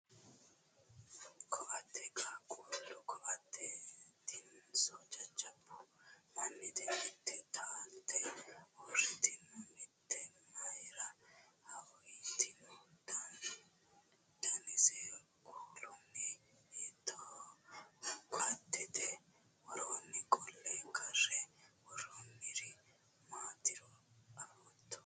Koatte qaaqqullu koattetinso jajjabbu mannite? Mitte taalte uurriteenna mitteemayiira haawitino? Danise kuulino hiittoho? Koattete woroo qolle karre worroyiiri maatiro afootto?